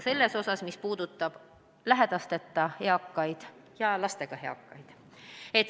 See tähendab ebavõrdsust nende eakate seas, kellel on lapsed ja kellel pole.